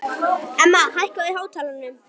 Emma, hækkaðu í hátalaranum.